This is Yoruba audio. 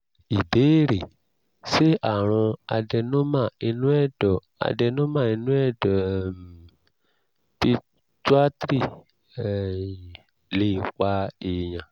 ìbéèrè: ṣé àrùn adenoma inú ẹ̀dọ̀ adenoma inú ẹ̀dọ̀ um pituitary um lè pa èèyàn?